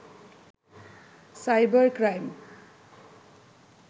cyber crime